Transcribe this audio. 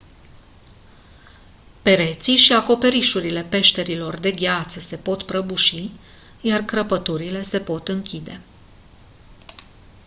pereții și acoperișurile peșterilor de gheață se pot prăbuși iar crăpăturile se pot închide